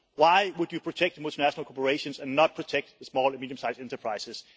Why would you protect multinational corporations and not protect the small and medium-sized enterprises?